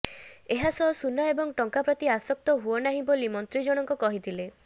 ଏହାସହ ସୁନା ଏବଂ ଟଙ୍କା ପ୍ରତି ଆଶକ୍ତ ହୁଅନାହିଁ ବୋଲି ମନ୍ତ୍ରୀଜଣଙ୍କ କହିଥିଲେ